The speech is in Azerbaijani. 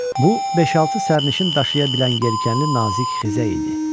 Bu beş-altı sərnişin daşıya bilən yelkənli nazik xizə idi.